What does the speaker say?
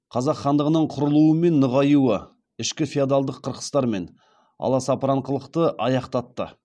қазақ хандығының құрылуы мен нығаюы ішкі феодалдық қырқыстар мен аласапыранқылықты аяқтатты